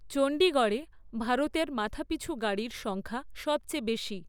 চণ্ডীগড়ে ভারতের মাথাপিছু গাড়ির সংখ্যা সবচেয়ে বেশি।